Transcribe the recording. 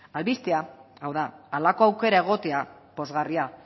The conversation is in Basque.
albistea hau da halako aukera egotea pozgarria